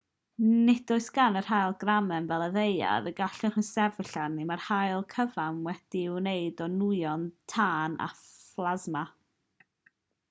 nid oes gan yr haul gramen fel y ddaear y gallwch chi sefyll arni mae'r haul cyfan wedi'i wneud o nwyon tân a phlasma